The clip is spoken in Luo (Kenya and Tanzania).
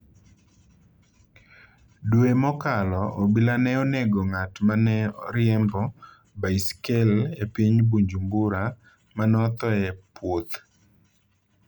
Dwe mokalo, obila ne onego ng'at ma ne riembo baisikel e piny Bujumbura, ma nothoe e puoth.